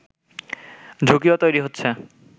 ঝুঁকিও তৈরি হচ্ছে